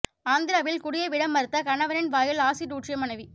ஆந்திராவில் குடியை விட மறுத்த கணவனின் வாயில் ஆசிட் ஊற்றிய மனைவி